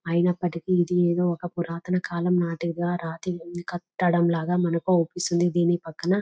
అయినప్పటికీని ఇది ఒక పురాతన కాలం నాటిక రాతి కట్టడం లాగా మనకి అగుపిస్తుంది. ధీని పక్కన --